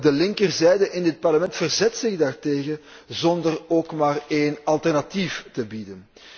De linkerzijde in dit Parlement verzet zich daartegen zonder ook maar één alternatief te bieden.